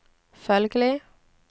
følgelig